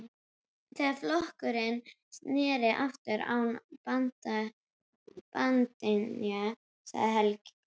Þegar flokkurinn sneri aftur án bandingja, sagði Helga.